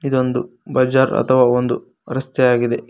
ಇದೊಂದು ಬಜಾರ್ ಅಥವಾ ಒಂದು ರಸ್ತೆಯಾಗಿದೆ.